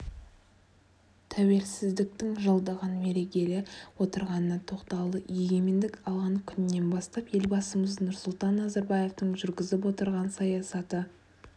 тәуелсіздіктің жылдығын мерелегелі отырғанына тоқталды егемендік алған күннен бастап елбасымыз нұрсұлтан назарбаевтың жүргізіп отырған саясаты